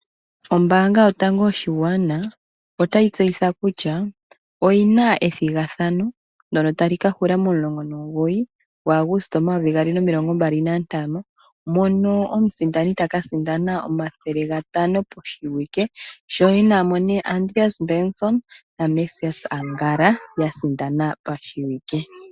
Ombanga yotango yopashingwana yaNamibia otayi tseyitha kutya oyina ethigathano tali kahula 19 Auguste 2025 mono omusindani takasindana N$ 500 koshiwike Andreas Benson naMesias Angala yasindana pashiwike.